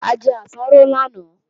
A jẹ àsáró lánàá